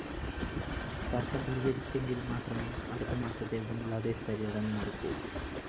തര്‍ക്കം പരിഹരിച്ചെങ്കില്‍ മാത്രമെ അടുത്തമാസത്തെ ബംഗ്ലാദേശ് പര്യടനം നടക്കൂ